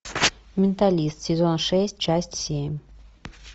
менталист сезон шесть часть семь